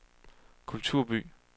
kulturby